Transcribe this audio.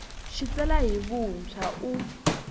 xi tsala hi vuntshwa u